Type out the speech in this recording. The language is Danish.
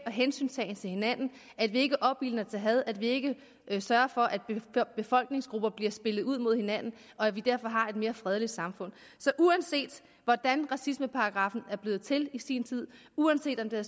hensyntagen til hinanden at vi ikke opildner til had at vi ikke sørger for at befolkningsgrupper bliver spillet ud mod hinanden og at vi derfor har et mere fredeligt samfund så uanset hvordan racismeparagraffen var blevet til i sin tid uanset om det